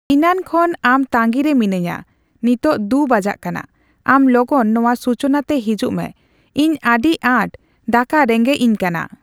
ᱤᱱᱟᱱ ᱠᱷᱚᱱ ᱟᱢ ᱛᱟᱸᱜᱤ ᱨᱮ ᱢᱤᱱᱟᱹᱧᱟ ᱾ᱱᱤᱛᱚᱜ ᱫᱩ ᱵᱟᱡᱟᱜ ᱠᱟᱱᱟ, ᱟᱢ ᱞᱚᱜᱚᱱ ᱱᱚᱣᱟ ᱥᱩᱪᱚᱱᱟᱛᱮ ᱦᱤᱡᱩᱜ ᱢᱮ ᱾ᱤᱧ ᱟᱹᱰᱤ ᱟᱸᱴ ᱫᱟᱠᱟ ᱨᱮᱸᱜᱮᱡ ᱤᱧᱠᱟᱱᱟ ᱾